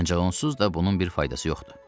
Ancaq onsuz da bunun bir faydası yoxdur.